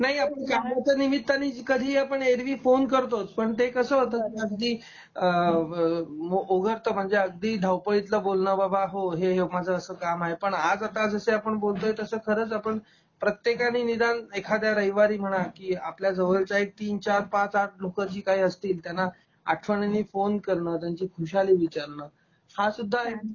नाही ओ ह्या पुढच्या निमित्तानी आपण कधीही ऐरवी फोन करतोच पण ते कस होत अगदी अ, अ ओझरत म्हणजे अगदी धावपाळीतल बोलण बाबा हो हे हे माझ अस काम आहे पण आज आता आपण बोलतोय तसं खरंच आपण प्रत्येकाने निदान एखाद्या रविवारी म्हणा की आपल्या जवळच्या एक तीन चार पाच आठ लोक जी काही असतील त्याना आठवणीने फोन करणं त्यांची खुशाली विचारण हा सुद्धा एक